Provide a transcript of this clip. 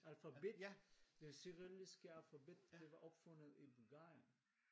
Alfabet! det kyrilliske alfabet det var opfundet i Bulgarien